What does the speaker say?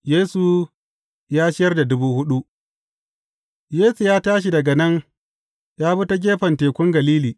Yesu ya ciyar da dubu huɗu Yesu ya tashi daga nan ya bi ta gefen Tekun Galili.